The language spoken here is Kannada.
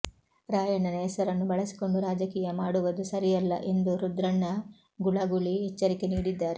ರಾಯಣ್ಣನ ಹೆಸರನ್ನು ಬಳಸಿಕೊಂಡು ರಾಜಕೀಯ ಮಾಡುವದು ಸರಿಯಲ್ಲ ಎಂದು ರುದ್ರಣ್ಣ ಗುಳಗುಳಿ ಎಚ್ಚರಿಕೆ ನೀಡಿದ್ದಾರೆ